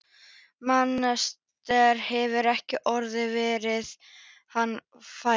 Mensalder hefur ekki orðið var við að hann færi.